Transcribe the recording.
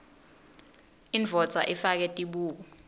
indvodza ifake tibuko